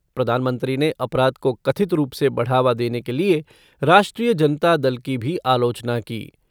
प्रधानमंत्री ने अपराध को कथित रूप से बढ़ावा देने के लिए राष्ट्रीय जनता दल की भी आलोचना की।